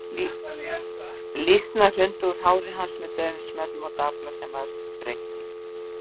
Lýsnar hrundu úr hári hans með daufum smellum á dagblað sem undir var breitt.